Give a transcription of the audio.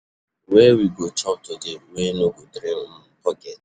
Where we go chop today wey no go drain um pocket?